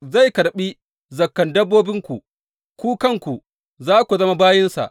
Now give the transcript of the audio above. Zai karɓi zakan dabbobinku, ku kanku za ku zama bayinsa.